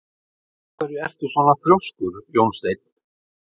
Af hverju ertu svona þrjóskur, Jónsteinn?